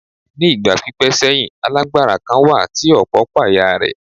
Ní ìgbà pípẹ́ sẹ́yìn, alágbára kan wà tí ọ̀pọ̀ páyà rẹ̀.